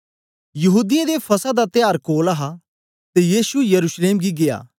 यहूदीयें दे फसह दा त्यार कोल हा ते यीशु यरूशलेम गी गीया